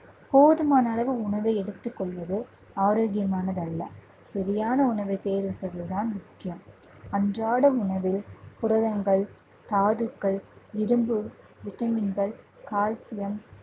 போதுமான அளவு உணவை எடுத்துக் கொள்வது ஆரோக்கியமானதல்ல. சரியான உணவை தேர்வு செய்வது தான் முக்கியம் அன்றாட உணவில் புரதங்கள், தாதுக்கள், இரும்பு, vitamin கள், calcium